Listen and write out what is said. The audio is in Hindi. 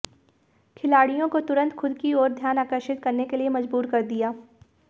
खिलाड़ियों को तुरंत खुद की ओर ध्यान आकर्षित करने के लिए मजबूर कर दिया